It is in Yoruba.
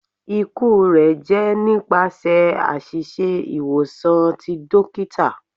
Iku rẹ jẹ nipasẹ aṣiṣe iwosan ti dokita